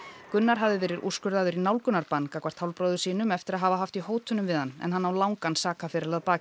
Gunnar hafði verið úrskurðaður í nálgunarbann gagnvart hálfbróður sínum eftir að hafa haft í hótunum við hann en hann á langan sakaferil að baki